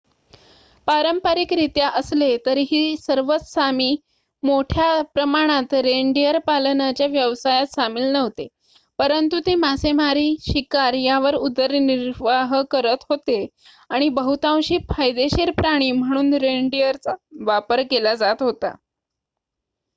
पारंपारिकरित्या असले तरीही सर्वच सामी मोठ्या प्रमाणात रेनडिअर पालनाच्या व्यवसायात सामील नव्हते परंतु ते मासेमारी शिकार यावर उदरनिर्वाह करत होते आणि बहुतांशी फायदेशीर प्राणी म्हणून रेनडिअरचा वापर केला जात होता